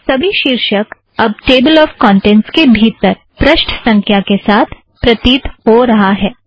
सबी शीर्षक अब टेबल ऑफ़ कौंटेंट्स के भीतर पृष्ठ संख्या के साथ प्रतित हो रहा है